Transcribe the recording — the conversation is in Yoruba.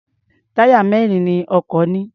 Táyà mẹ́rin ni ọkọ̀ ní.